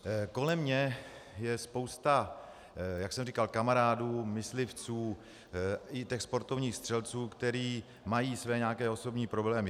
Kolem mě je spousta, jak jsem říkal, kamarádů, myslivců i těch sportovních střelců, kteří mají své nějaké osobní problémy.